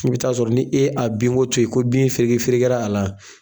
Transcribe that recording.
I bɛ t'a sɔrɔ n'i e a bin ko to yen ko bin fereke fereke a la